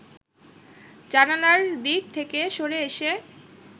জানালার দিক থেকে সরে এসে